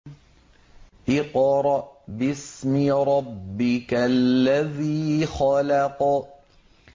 اقْرَأْ بِاسْمِ رَبِّكَ الَّذِي خَلَقَ